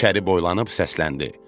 İçəri boylanıb səsləndi: